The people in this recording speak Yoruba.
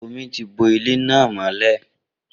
Omi ti bo ilé náà mọ́lẹ̀